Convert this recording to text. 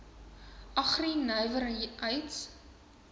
agri nywer heids